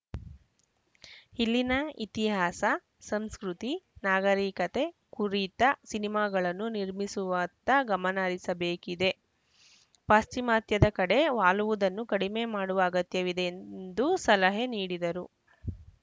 ಇಲ್ಲಿನ ಇತಿಹಾಸ ಸಂಸ್ಕೃತಿ ನಾಗರಿಕತೆ ಕುರಿತ ಸಿನಿಮಾಗಳನ್ನು ನಿರ್ಮಿಸುವತ್ತ ಗಮನಹರಿಸಬೇಕಿದೆ ಪಾಶ್ಚಿಮಾತ್ಯದ ಕಡೆ ವಾಲುವುದನ್ನು ಕಡಿಮೆ ಮಾಡುವ ಅಗತ್ಯವಿದೆ ಎಂದು ಸಲಹೆ ನೀಡಿದರು